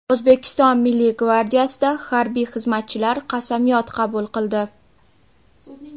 O‘zbekiston Milliy gvardiyasida harbiy xizmatchilar qasamyod qabul qildi.